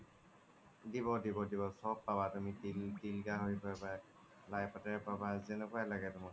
দিব দিব দিব তুমি চ্ব পাব তুমি তিল গহৰি পাব লাই পাতেৰে পাব জেনেকুৱাই লাগে তুমাক